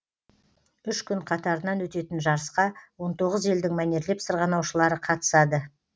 үш күн қатарынан өтетін жарысқа он тоғыз елдің мәнерлеп сырғанаушылары қатысады